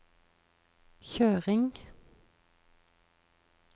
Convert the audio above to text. kjøring